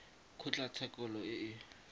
kgotlatshekelo e kgolo e e